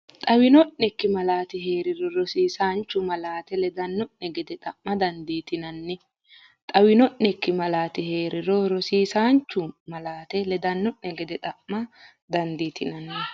Xawino’nekki malaati hee’riro, rosiisaanchu malaate ledanno’ne gede xa’ma dandiiti- nanni Xawino’nekki malaati hee’riro, rosiisaanchu malaate ledanno’ne gede xa’ma dandiiti- nanni.